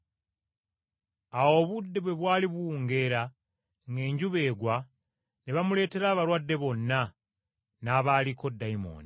Awo obudde bwe bwali buwungeera, ng’enjuba egwa, ne bamuleetera abalwadde bonna, n’abaaliko dayimooni.